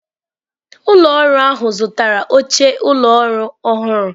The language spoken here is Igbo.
Ụlọ ọrụ ahụ zụtara oche ụlọ ọrụ ọhụrụ.